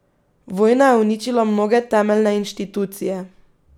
Vojna je uničila mnoge temeljne inštitucije.